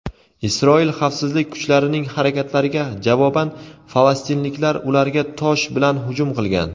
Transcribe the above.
Isroil xavfsizlik kuchlarining harakatlariga javoban falastinliklar ularga tosh bilan hujum qilgan.